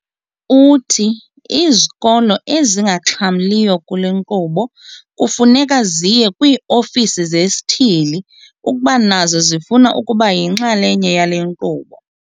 Uthi izikolo ezingaxhamliyo kule nkqubo kufuneka ziye kwii-ofisi zesithili ukuba nazo zifuna ukuba yinxalenye yale nkqubo.